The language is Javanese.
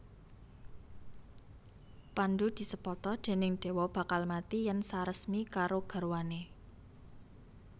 Pandhu disepata déning dewa bakal mati yèn saresmi karo garwané